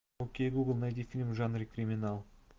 окей гугл найди фильм в жанре криминал